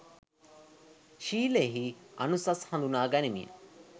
ශීලයෙහි අනුසස් හඳුනා ගනිමින්